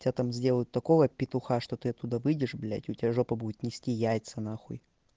тебя там сделают такого петуха что ты оттуда выйдешь блять у тебя жопа будет нести яйца на хуй